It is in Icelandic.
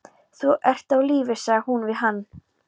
Þú ert á lífi sagði hún við hann.